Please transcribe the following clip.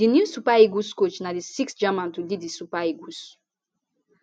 di new super eagles coach na di sixth german to lead di super eagles